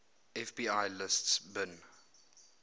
fbi lists bin